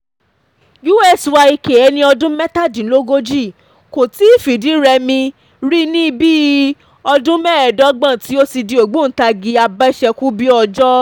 usyk ẹni ọdún mẹ́tàdínlógójì kò tíì fìdírẹmi rí ní bíi ọdún mẹ́ẹ̀ẹ́dọ́gbọ̀n tí ó ti di ògbóǹtagí abèṣekúbìòjò